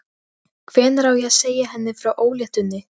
Hvenær á ég að segja henni frá ólétt- unni?